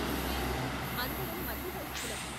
లేదు అందరం మధ్యవయస్కులం.